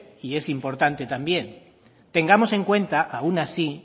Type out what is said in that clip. y es importante también tengamos en cuenta aun así